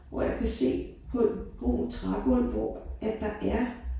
Hvor jeg kan se på et brunt trægulv hvor at der er